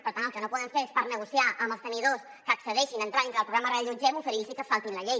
per tant el que no podem fer és per negociar amb els tenidors que accedeixin a entrar a dintre del programa reallotgem oferir los que se saltin la llei